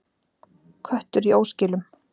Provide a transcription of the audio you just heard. Köttur í óskilum.